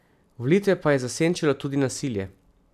Volitve pa je zasenčilo tudi nasilje.